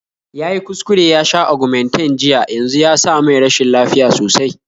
Yayi kuskure yasha Argumentinn jiya yanzu yasa mai rashin lafiya sosai